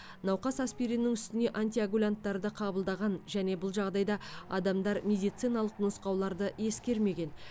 науқас аспириннің үстіне антикоагулянттарды қабылдаған және бұл жағдайда адамдар медициналық нұсқауларды ескермеген